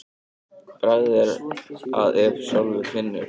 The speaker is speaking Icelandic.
Bragð er að ef sjálfur finnur.